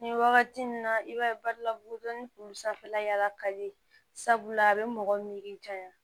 Ni wagati nin na i b'a ye badila bugutoni kun sanfɛla yala kali sabula a be mɔgɔ miiri janya